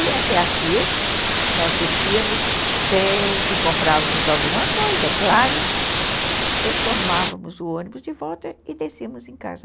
E até a Sears, nós descíamos, sempre comprávamos alguma coisa, é claro, depois tomávamos o ônibus de volta e descíamos em casa.